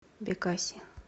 бекаси